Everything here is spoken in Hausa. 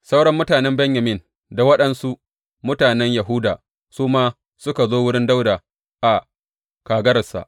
Sauran mutanen Benyamin da waɗansu mutanen Yahuda su ma suka zo wurin Dawuda a kagararsa.